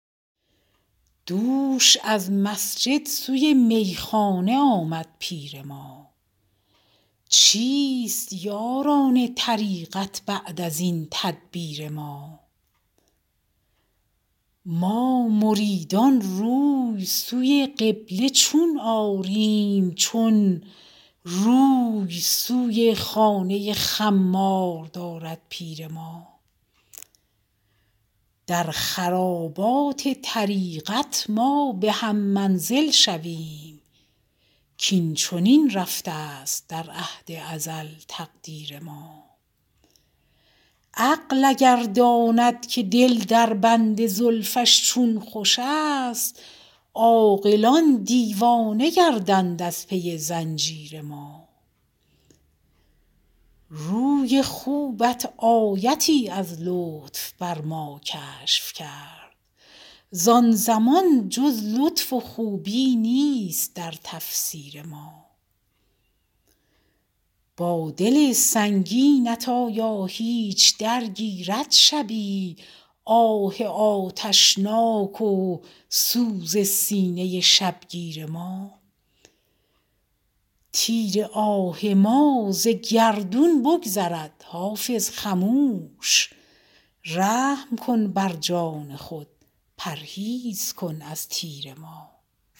دوش از مسجد سوی میخانه آمد پیر ما چیست یاران طریقت بعد از این تدبیر ما ما مریدان روی سوی قبله چون آریم چون روی سوی خانه خمار دارد پیر ما در خرابات طریقت ما به هم منزل شویم کاین چنین رفته است در عهد ازل تقدیر ما عقل اگر داند که دل در بند زلفش چون خوش است عاقلان دیوانه گردند از پی زنجیر ما روی خوبت آیتی از لطف بر ما کشف کرد زان زمان جز لطف و خوبی نیست در تفسیر ما با دل سنگینت آیا هیچ درگیرد شبی آه آتشناک و سوز سینه شبگیر ما تیر آه ما ز گردون بگذرد حافظ خموش رحم کن بر جان خود پرهیز کن از تیر ما